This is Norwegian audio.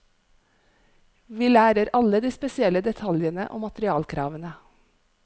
Vi lærer alle de spesielle detaljene og materialkravene.